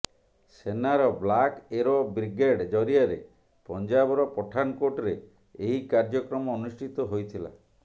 ସେନାର black arrow brigade ଜରିଆରେ ପଞ୍ଜାବର ପଠାନକୋଟରେ ଏହି କାର୍ଯ୍ୟକ୍ରମ ଅନୁଷ୍ଠିତ ହୋଇଥିଲା